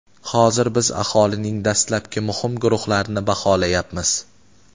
Hozir biz aholining dastlabki muhim guruhlarini baholayapmiz.